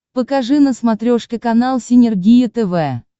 покажи на смотрешке канал синергия тв